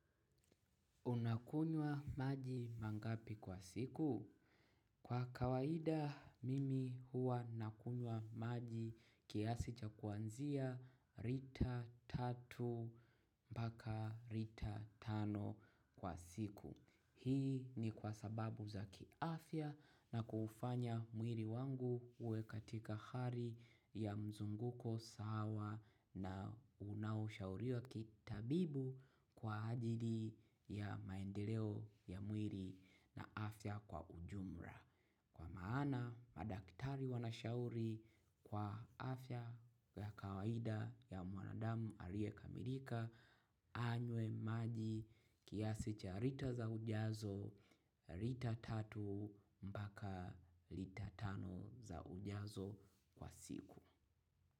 Unakunywa maji mangapi kwa siku? Kwa kawaida, mimi huwa nakunywa maji kiasi cha kuanzia rita tatu mpaka rita tano kwa siku. Hii ni kwa sababu za kiafya na kuufanya mwiri wangu uwe katika hari ya mzunguko sawa na unaoshauriwa kitabibu kwa ajili ya maendeleo ya mwiri na afya kwa ujumra. Kwa maana madaktari wanashauri kwa afya ya kawaida ya mwanadamu Arie Kamilika, anywe maji kiasi cha rita za ujazo, rita tatu mbaka rita tano za ujazo kwa siku.